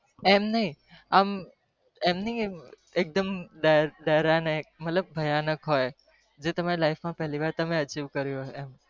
અમ નહી કે ભયાનક હોય